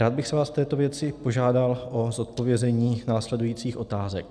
Rád bych vás v této věci požádal o zodpovězení následujících otázek.